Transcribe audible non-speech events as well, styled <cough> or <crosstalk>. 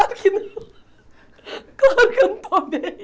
<laughs> Claro que eu não estou bem!